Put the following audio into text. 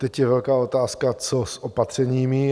Teď je velká otázka, co s opatřeními.